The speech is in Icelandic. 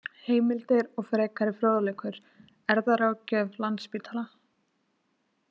Heimildir og frekari fróðleikur: Erfðaráðgjöf Landspítala.